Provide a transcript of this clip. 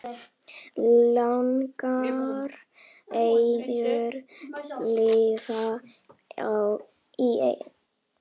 Langar engu liði í Evrópu?